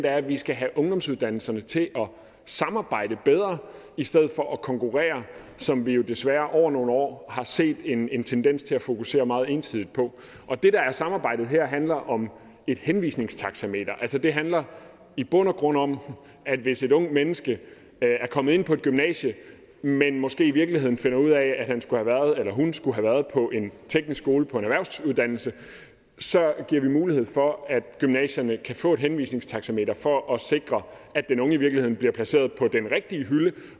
at vi skal have ungdomsuddannelserne til at samarbejde bedre i stedet for at konkurrere som vi jo desværre over nogle år har set en en tendens til at der fokuseres meget ensidigt på og det der er samarbejdet her handler om et henvisningstaxameter altså det handler i bund og grund om at hvis et ungt menneske er kommet ind på et gymnasie men måske i virkeligheden finder ud af at han eller hun skulle have været på en teknisk skole på en erhvervsuddannelse så giver vi mulighed for at gymnasierne kan få et henvisningstaxameter for at sikre at den unge i virkeligheden bliver placeret på den rigtige hylde